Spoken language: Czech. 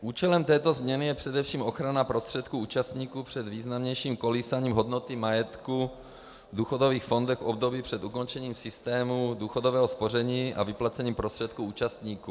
Účelem této změny je především ochrana prostředků účastníků před významnějším kolísáním hodnoty majetku v důchodových fondech v období před ukončením systému důchodového spoření a vyplacením prostředků účastníků.